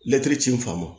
ci n fan ma